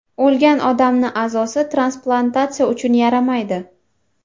O‘lgan odamni a’zosi transplantatsiya uchun yaramaydi.